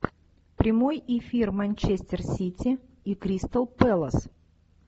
прямой эфир манчестер сити и кристал пэлас